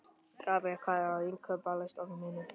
Gabríel, hvað er á innkaupalistanum mínum?